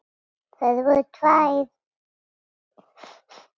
Þær voru tvær.